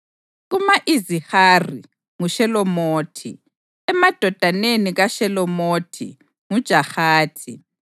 Kuma-Izihari: nguShelomothi; emadodaneni kaShelomothi; nguJahathi.